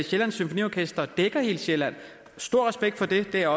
sjællands symfoniorkester dækker hele sjælland stor respekt for det det er